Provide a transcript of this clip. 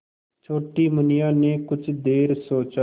छोटी मुनिया ने कुछ देर सोचा